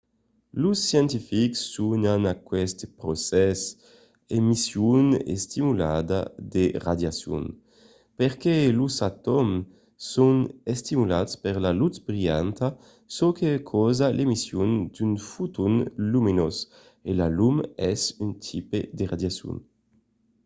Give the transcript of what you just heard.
los scientifics sonan aqueste procès emission estimulada de radiacion perque los atòms son estimulats per la lutz brilhanta çò que causa l'emission d'un foton luminós e la lum es un tipe de radiacion